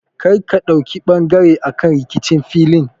Kar ka ɗauki ɓangare akan rikicin filin!